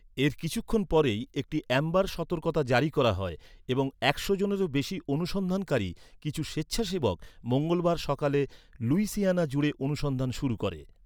এর কিছুক্ষণ পরেই একটি অ্যাম্বার সতর্কতা জারি করা হয় এবং একশো জনেরও বেশি অনুসন্ধানকারী, কিছু স্বেচ্ছাসেবক, মঙ্গলবার সকালে লুইসিয়ানা জুড়ে অনুসন্ধান শুরু করে।